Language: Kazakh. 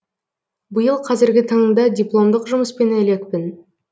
биыл қазіргі таңда дипломдық жұмыспен әлекпін